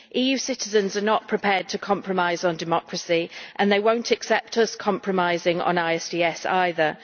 EU citizens are not prepared to compromise on democracy and they will not accept us compromising on ISDS either.